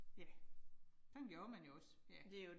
Ja. Sådan gjorde man jo også. Ja